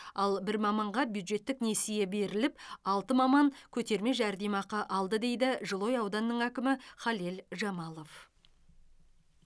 ал бір маманға бюджеттік несие беріліп алты маман көтерме жәрдемақы алды дейді жылыой ауданының әкімі халел жамалов